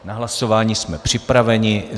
Na hlasování jsme připraveni.